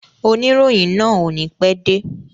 Oníròyìn náà o ní pẹ́ dé.